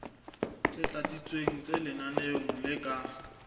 tlatsitsweng tse lenaneong le ka